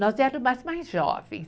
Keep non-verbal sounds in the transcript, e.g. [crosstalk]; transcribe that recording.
Nós [unintelligible] mais jovens.